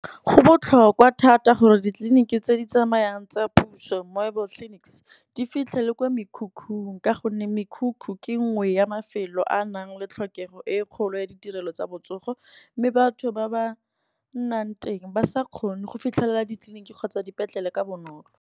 Go botlhokwa thata gore ditleliniki tse di tsamayang tsa puso mobile clinics di fitlhe le kwa mekhukhung. Ka gonne mekhukhu ke nngwe ya mafelo a a nang le tlhokego e e kgolo ya ditirelo tsa botsogo, mme batho ba ba nnang teng ba sa kgone go fitlhelela ditleliniki kgotsa dipetlele ka bonolo.